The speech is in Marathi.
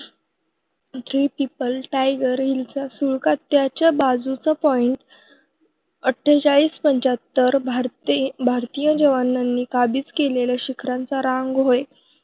थ्री पिपल, टायगर हिलचा सुळका त्याच्या बाजूचा point आठेचहाडीस पंचेहत्त भारतीय जवानांनी काबीज केलेल्या शिखरांची रांगहोय.